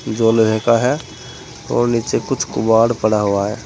जो लोहे का है और नीचे कुछ कबाड़ पड़ा हुआ है।